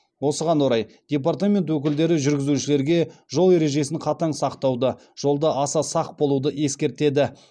осыған орай департамент өкілдері жүргізушілерге жол ережесін қатаң сақтауды жолда аса сақ болуды ескертеді